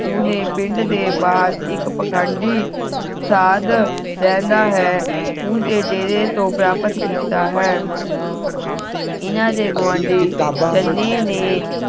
ਉਹਨੇ ਪਿੰਡ ਦੇ ਬਾਹਰ ਇਕ ਪਖੰਡੀ ਸਾਧ ਰਹਿੰਦਾ ਹੈ ਉਸਦੇ ਡੇਰੇ ਤੋਂ ਪ੍ਰਾਪਤ ਕੀਤਾ ਹੈ ਇਹਨਾਂ ਦੇ ਗੁਵਾਂਢੀ ਚੰਨੇ ਨੇ